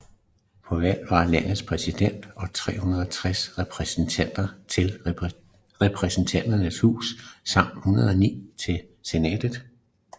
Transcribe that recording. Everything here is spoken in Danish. På valg var landets præsident og 360 repræsentanter til Repræsentanternes Hus samt 109 til Senatet